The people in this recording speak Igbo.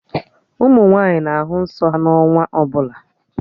Ụmụ nwaanyị na-ahụ nsọ ha n'ọnwa ọbụla